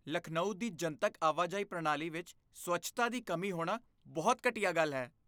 ਲਖਨਊ ਦੀ ਜਨਤਕ ਆਵਾਜਾਈ ਪ੍ਰਣਾਲੀ ਵਿੱਚ ਸਵੱਛਤਾ ਦੀ ਕਮੀ ਹੋਣਾ ਬਹੁਤ ਘਟੀਆ ਗੱਲ ਹੈ।